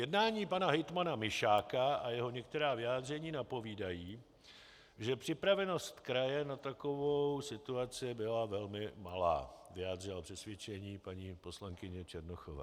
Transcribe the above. Jednání pana hejtmana Mišáka a jeho některá vyjádření napovídají, že připravenost kraje na takovou situaci byla velmi malá, vyjádřila přesvědčení paní poslankyně Černochová.